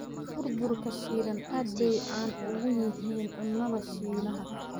Burburka shiilan aad bay caan ugu yihiin cunnada Shiinaha.